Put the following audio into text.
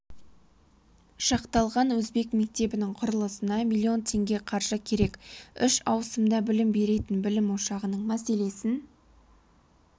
шақталқан өзбек мектебінің құрылысына миллион теңге қаржы керек үш ауысымда білім беретін білім ошағының мәселесін